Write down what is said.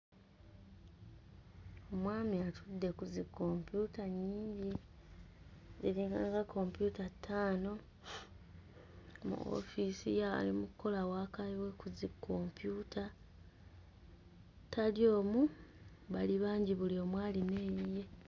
Omwami atudde ku zikkompyuta nnyingi, ziringanga kompyuta ttaano. Mu ofiisi ye ali mu kkola waaka we ku zikkompyuta. Tali omu, bali bangi buli omu alina eyiye.